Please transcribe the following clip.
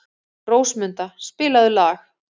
Rósmunda, spilaðu lag.